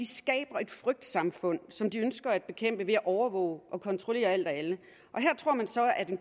skaber et frygtsamfund som de ønsker at bekæmpe ved at overvåge og kontrollere alt og alle her tror man så at